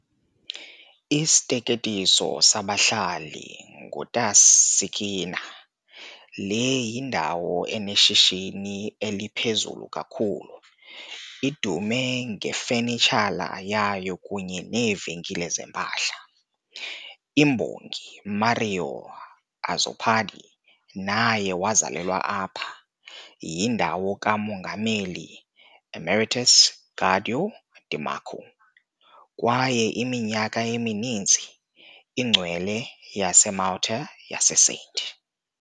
Isiteketiso sabahlali nguTas"-Sikkina", le yindawo eneshishini eliphezulu kakhulu, idume ngefanitshala yayo kunye neevenkile zempahla. Imbongi Mario Azzopardi naye wazalelwa apha, yindawo kaMongameli Emeritus Guido de Marco kwaye iminyaka emininzi ingcwele yaseMalta yaseSt.